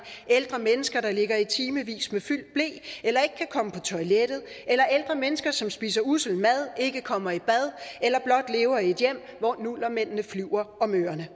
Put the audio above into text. ældre mennesker der ligger i timevis med fyldt ble eller ikke kan komme på toilettet eller ældre mennesker som spiser ussel mad ikke kommer i bad eller blot lever i et hjem hvor nullermændene flyver om ørerne